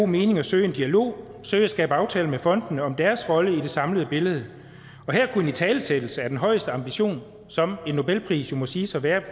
mening at søge en dialog søge at skabe aftaler med fondene om deres rolle i det samlede billede og her kunne en italesættelse af den højeste ambition som en nobelpris jo må siges at være